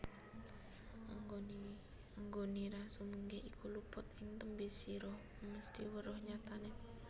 Anggonira sumugih iku luput ing tembe sira mesthi weruh nyatane